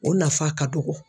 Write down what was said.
O nafa ka dɔgɔ.